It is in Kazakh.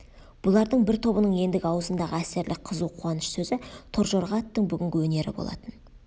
бұлардың бір тобының ендігі аузындағы әсерлі қызу қуаныш сөзі торжорға аттың бүгінгі өнері болатын